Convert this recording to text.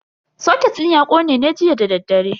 Soket din ya kone ne jiya dadaddare.